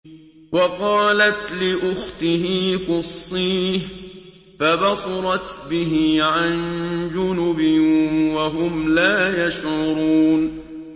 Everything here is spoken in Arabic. وَقَالَتْ لِأُخْتِهِ قُصِّيهِ ۖ فَبَصُرَتْ بِهِ عَن جُنُبٍ وَهُمْ لَا يَشْعُرُونَ